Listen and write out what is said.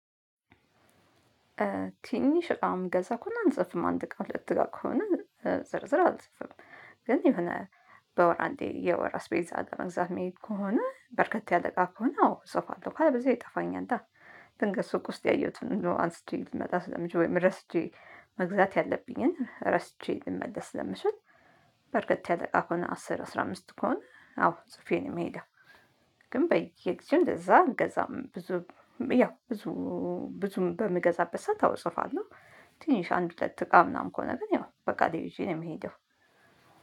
ትንሽ እቃ እምገዛ ከሆነ አልጽፍም አንድ እቃ ሁለት እቃ ከሆነ ዝርዝር አልጽፍም። ግን የሆነ በወር አንዴ የወር አስቤዛ ለመግዛት መሄድ ከሆነ በርከት ያለ እቃ ከሆነ አዎ እጽፋለሁ ካለበዚያ ይጠፋኛል። አ ድንገት ሱቅ ውስጥ ያየሁትን እንደው አንስቼ ልመጣ ስለምችል ወይም ረስቼ መግዛት ያለብኝን ረስቼ ልመለስ ስለምችል። በርከት ያለ እቃ ከሆነ አስር አስራ አምስት ከሆነ አዎ ጽፌ ነው ምሄደው። ግን በየጊዜው እንደዛ እልገዛም ብዙም ያው ብዙ ብዙም በምገዛበት ሰዓት አዎ እጽፋለሁ። ትንሽ አንድ ሁለት እቃ ምናምን ከሆነ ግን ያው በቃሌ ይዤ ነው ምሄደው።